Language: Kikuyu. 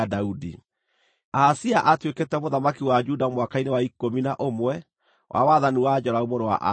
(Ahazia aatuĩkĩte mũthamaki wa Juda mwaka-inĩ wa ikũmi na ũmwe wa wathani wa Joramu mũrũ wa Ahabu).